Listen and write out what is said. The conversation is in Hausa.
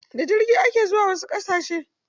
Da jirgi ake zuwa wasu ƙasashe.